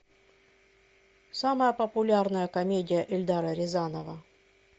самая популярная комедия эльдара рязанова